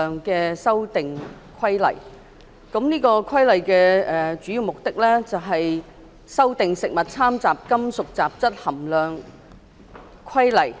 本《修訂規例》的主要目的是修訂《食物攙雜規例》，